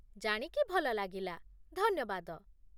ଜାଣିକି ଭଲ ଲାଗିଲା, ଧନ୍ୟବାଦ